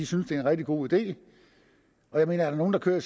synes det er en rigtig god idé er der nogen der kører i